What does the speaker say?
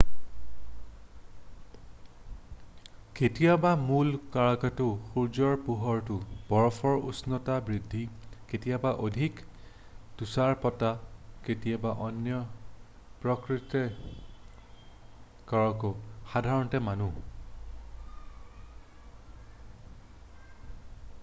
কেতিয়াবা মূল কাৰকটো সূৰ্যৰ পোহৰত বৰফৰ উষ্ণতা বৃদ্ধি কেতিয়াবা অধিক তুষাৰপাত কেতিয়াবা অন্য প্ৰাকৃতিক কাৰক সাধাৰণতে মানুহ